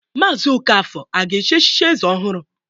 Mazi Okafor a ga-echichi eze ọhụrụ?